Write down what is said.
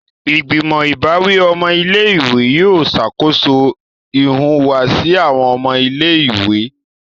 Igbimọ ìbáwí ọmọ ilé-ìwé yóò ṣakoso ìhùwàsí awọn ọmọ ilé-ìwé.